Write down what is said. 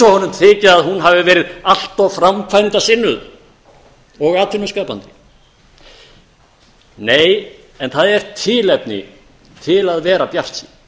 þyki að hún hafi verið allt of framkvæmdasinnuð og atvinnu skapandi nei en það er tilefni til að vera bjartsýn